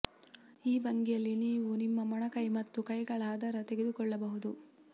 ಈ ಭಂಗಿಯಲ್ಲಿ ನೀವು ನಿಮ್ಮ ಮೊಣಕೈ ಮತ್ತು ಕೈಗಳ ಆಧಾರ ತೆಗೆದುಕೊಳ್ಳಬಹುದು